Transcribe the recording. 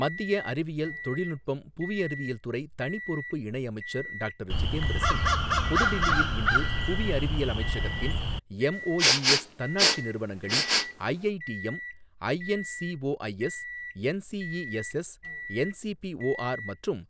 மத்திய அறிவியல், தொழில்நுட்பம், புவி அறிவியல் துறை தனி பொறுப்பு இணையமைச்சர் டாக்டர் ஜிதேந்திர சிங் புதுடில்லியில் இன்று புவி அறிவியல் அமைச்சகத்தின் எம்ஓஇஎஸ் தன்னாட்சி நிறுவனங்களின் ஐஐடிஎம், ஐஎன்சிஓஐஎஸ், என்சிஇஎஸ்எஸ், என்சிபிஓஆர் மற்றும்